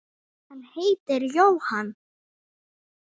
Hann heitir Jóhann